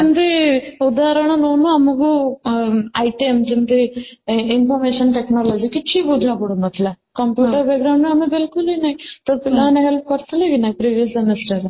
ଯେମିତି ଉଦାହରଣ ନଉନୁ ଆମକୁ ଅଂ inter ship ଯେମିତି information technology କିଛି ବୁଝା ପଡୁନଥିଲା computer ର ଆମେ ତାହାଲେ lang: Foreignlang: Foreign ନାହିଁ ତ ପିଲାମାନେ help କରିଥିଲେ କି ନାହିଁ previous honour ରେ